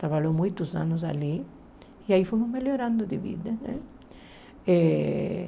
Trabalhou muitos anos ali e aí fomos melhorando de vida, né? Eh